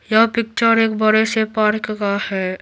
यह पिक्चर एक बड़े से पार्क का है।